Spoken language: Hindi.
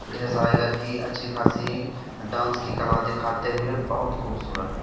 ढेर सारी लड़की अच्छी-खासी डांस की कला दिखाते हुए बहुत खूबसूरत --